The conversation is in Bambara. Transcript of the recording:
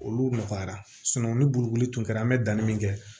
Olu nɔgɔyara ni bolokoli tun kɛra an bɛ danni min kɛ